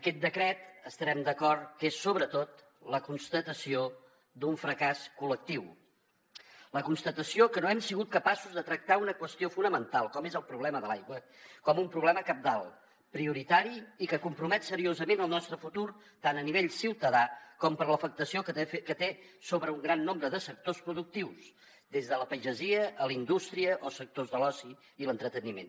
aquest decret estarem d’acord que és sobretot la constatació d’un fracàs col·lectiu la constatació que no hem sigut capaços de tractar una qüestió fonamental com és el problema de l’aigua com un problema cabdal prioritari i que compromet seriosament el nostre futur tant a nivell ciutadà com per l’afectació que té sobre un gran nombre de sectors productius des de la pagesia a la indústria o sectors de l’oci i l’entreteniment